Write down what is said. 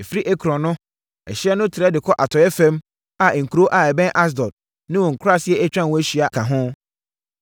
ɛfiri Ekron no, ɛhyeɛ no trɛ de kɔ atɔeɛ fam a nkuro a ɛbɛn Asdod ne wɔn nkuraaseɛ a atwa ho ahyia ka ho.